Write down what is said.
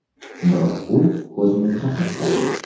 Biroq u o‘zimizga ham kerak.